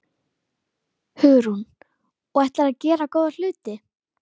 Í þeim skilningi voru þeir forverar nútímamálara.